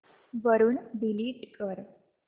वरून डिलीट कर